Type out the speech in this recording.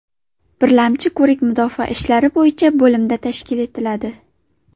Birlamchi ko‘rik mudofaa ishlari bo‘yicha bo‘limda tashkil etiladi.